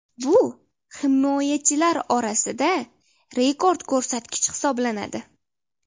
Bu himoyachilar orasida rekord ko‘rsatkich hisoblanadi .